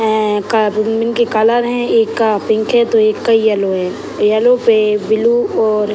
हैं का भिन्न-भिन्न के कलर हैं एक का पिंक है तो एक का येलो है येलो पे ब्लू और --